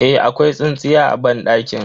Eh, akwai tsintsiya a banɗakin.